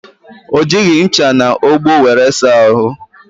O jighi ncha na ogbo wéré saa ahụ